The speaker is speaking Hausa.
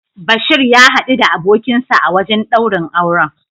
Bashir ya hadu da abokinsa a wajen daurin auren.